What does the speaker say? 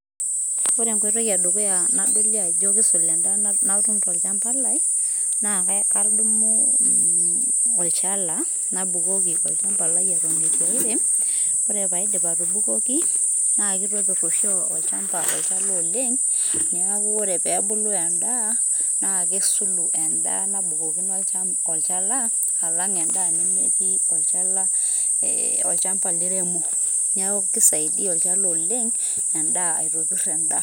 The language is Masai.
ore enkoitoi edukuya nadolie ajo kisul enda natum tolchamba lai, na kadumu mm olchala nabukoki olchamba lai eton etu airem, ore paidip atubokiki na kitopir oshi olchamba olchala oleng, niaku ore pebulu endaa na kesulu endaa nabukokino olchala alang endaa nemeti olchala ee olchamba liremo niaku kisaidia olchala oleng aitopir endaa.